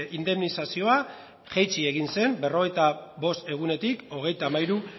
indemnizazioa jaitsi egin zen berrogeita bost egunetik hogeita hamairu